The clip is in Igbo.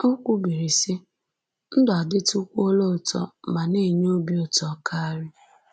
O kwubiri, sị: “Ndụ adịkwuola ụtọ ma na-enye obi ụtọ karị